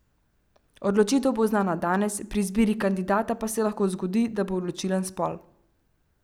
Odločitev bo znana danes, pri izbiri kandidata pa se lahko zgodi, da bo odločilen spol.